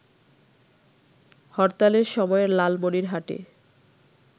হরতালের সময় লালমনিরহাটে